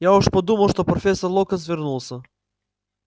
я уж подумал это профессор локонс вернулся